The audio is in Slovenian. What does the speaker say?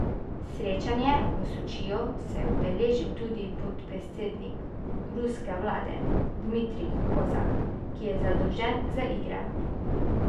Srečanja v Sočiju se je udeležil tudi podpredsednik ruske vlade Dmitrij Kozak, ki je zadolžen za igre.